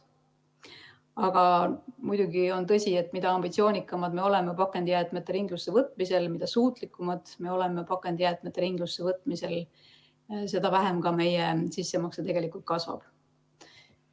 Aga muidugi on tõsi, et mida ambitsioonikamad me oleme, mida suutlikumad me oleme pakendijäätmete ringlusse võtmisel, seda vähem ka meie sissemakse kasvab.